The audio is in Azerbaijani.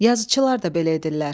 Yazıçılar da belə edirlər.